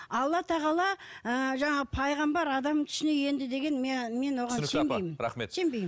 алла тағала ы жаңағы пайғамбар адамның түсіне енді деген мен оған сенбеймін рахмет сенбеймін